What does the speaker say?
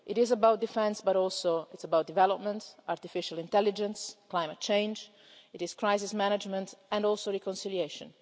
It is about defence, but also about development, artificial intelligence, climate change, crisis management and also reconciliation.